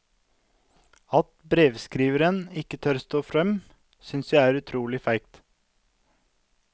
At brevskriveren ikke tør stå frem, synes jeg er utrolig feigt.